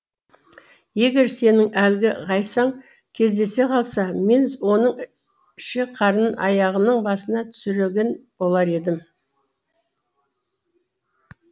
егер сенің әлгі ғайсаң кездесе қалса мен оның ішек қарынын аяғының басына түсірген болар едім